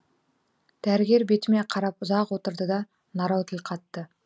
дәрігер бетіме қарап ұзақ отырды да нарау тіл қатты